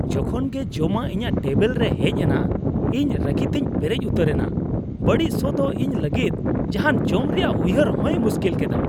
ᱡᱚᱠᱷᱚᱱ ᱜᱮ ᱡᱚᱢᱟᱜ ᱤᱧᱟᱹᱜ ᱴᱮᱵᱤᱞ ᱨᱮ ᱦᱮᱡ ᱮᱱᱟ, ᱤᱧ ᱨᱟᱹᱜᱤᱛᱮᱧ ᱯᱮᱨᱮᱡ ᱩᱛᱟᱹᱨᱮᱱᱟ ᱾ ᱵᱟᱹᱲᱤᱡ ᱥᱚ ᱫᱚ ᱤᱧ ᱞᱟᱹᱜᱤᱫ ᱡᱟᱦᱟᱱ ᱡᱚᱢ ᱨᱮᱭᱟᱜ ᱩᱭᱦᱟᱹᱨ ᱦᱚᱭ ᱢᱩᱥᱠᱤᱞ ᱠᱮᱫᱟ ᱾